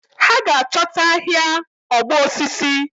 Ha ga achọta ahia ọgbọ osisi.